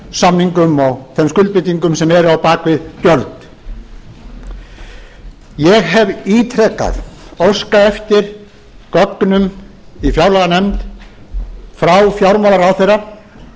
samningum og þeim skuldbindingum sem eru á bak við gjöld ég hef ítrekað óskað eftir gögnum í fjárlaganefnd frá fjármálaráðherra